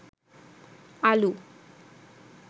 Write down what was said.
আলু